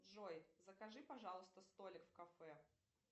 джой закажи пожалуйста столик в кафе